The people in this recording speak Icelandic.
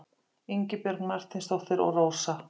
Ingibjörg Marteinsdóttir og Rósa.